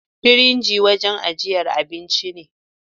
firinji wanjan ajjiyar abinci ne